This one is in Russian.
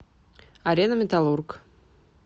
арена металлург